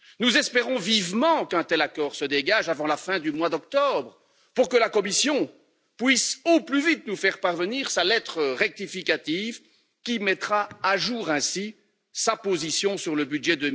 Nous espérons vivement qu'un tel accord se dégage avant la fin octobre, pour que la Commission puisse au plus vite nous faire parvenir sa lettre rectificative qui mettra à jour ainsi sa position sur le budget